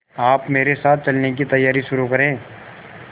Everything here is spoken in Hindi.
आप मेरे साथ चलने की तैयारी शुरू करें